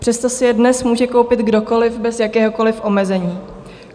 Přesto si je dnes může koupit kdokoliv bez jakéhokoliv omezení.